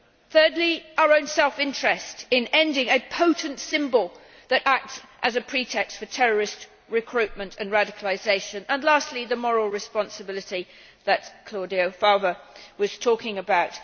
Thirdly, our own self interest in ending a potent symbol that acts as a pretext for terrorist recruitment and radicalisation and, lastly, the moral responsibility that Claudio Fava was talking about.